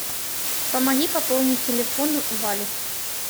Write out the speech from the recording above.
помоги пополнить телефон вали